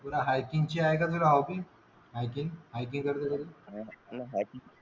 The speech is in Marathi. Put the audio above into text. तुला हॅकिंग ची आहे का तुला हॉबी